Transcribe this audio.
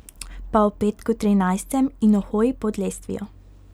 Pa o petku trinajstem in o hoji pod lestvijo.